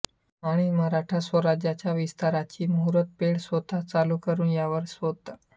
आणिमराठा स्वराज्याच्या विस्ताराची मुहुर्तपेढ स्वतः चालु करुन त्यावर स्वत